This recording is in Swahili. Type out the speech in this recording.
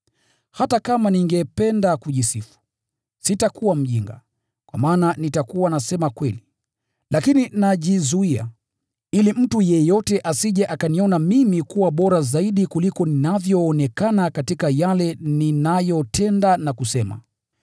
Hata kama ningependa kujisifu, sitakuwa mjinga, kwa maana nitakuwa nasema kweli. Lakini najizuia, ili mtu yeyote asije akaniona mimi kuwa bora zaidi kuliko ninavyoonekana katika yale ninayotenda na kusema.